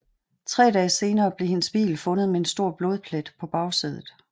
Tre dage senere blev hendes bil fundet med en stor blodplet på bagsædet